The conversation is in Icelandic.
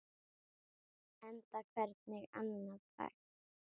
Enda hvernig annað hægt?